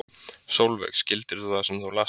Sólveig: Skildir þú það sem þú last?